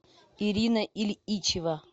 ирина ильичева